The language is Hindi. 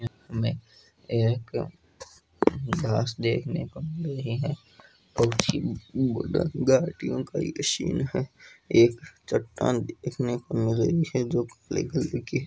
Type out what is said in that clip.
इक में एक घास देखने को मिल रही है पची उड़ घाटियो का ये सीन है एक चटान देखने को मिल रही है जो की--